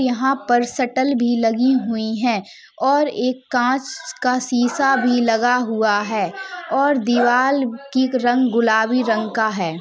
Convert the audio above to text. यहाँ पर शटल भी लगी हुई हैं और एक काँच का शीशा भी लगा हुआ है और दीवाल की रंग गुलाबी रंग का है।